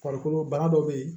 Farikolo bana dɔ bɛ yen